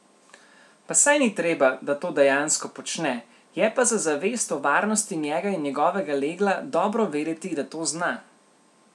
Pa saj ni treba, da to dejansko počne, je pa za zavest o varnosti njega in njegovega legla dobro vedeti, da to zna.